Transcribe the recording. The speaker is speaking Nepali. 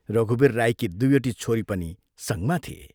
रघुवीर राईकी दुइवटी छोरी पनि संगमा थिए।